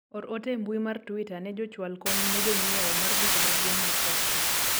or ote e mbui mar twita ne jochwal kony ne jonyiewo mar duka maduong' mar tuskys